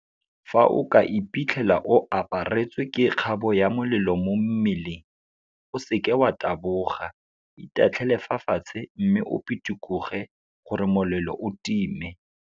Fa o ka iphitlhela o aparetswe ke kgabo ya molelo mo mmeleng, o seke wa taboga, itatlhele fa fatshe mme o pitikoge gore molelo o time.